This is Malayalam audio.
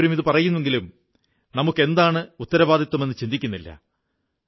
എല്ലാവരും ഇതു പറയുന്നുവെങ്കിലും നമുക്കെന്താണ് ഉത്തരവാദിത്തമെന്നു ചിന്തിക്കുന്നില്ല